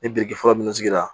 Ni biriki fɔlɔ minnu sigira